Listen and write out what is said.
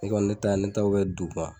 I kɔni ne taa ne taa bɛ kɛ dugma